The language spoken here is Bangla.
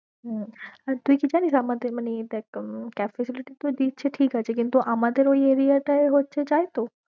হম আর তুই কি জেনিস আমাদের মানে এই দেখ cab facility তে তো দিচ্ছে ঠিকাছে, কিন্তু আমাদের ঐ area টায়ে হচ্ছে যায়ে তো?